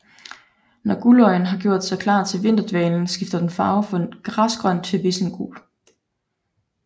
Når guldøjen har gjort sig klar til vinterdvalen skifter den farve fra græsgrøn til vissengul